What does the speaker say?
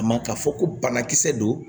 A ma ka fɔ ko banakisɛ don